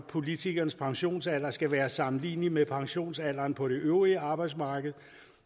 politikernes pensionsalder skal være sammenlignelig med pensionsalderen på det øvrige arbejdsmarked